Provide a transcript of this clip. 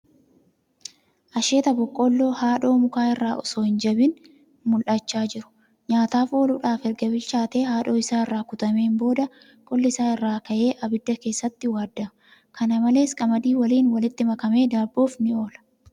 Asheeta boqqoolloo haadhoo mukaa irraa osoo hin jabin mul'achaa jiru. Nyaataf ooludhaaf erga bilchaatee haadhoo isaa irraa kutameen booda qolli isaa irraa ka'ee ibidda keessatti waaddama. Kana malees, qamadii waliin walitti makamee daabboof ni oola.